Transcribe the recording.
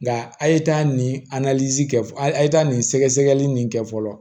Nka a' ye taa nin kɛ a ye taa nin sɛgɛsɛgɛli nin kɛ fɔlɔ